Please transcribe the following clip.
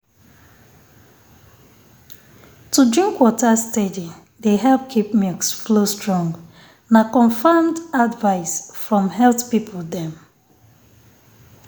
to drink water steady dey help keep milk flow strong. na confirmed advice from um health people dem.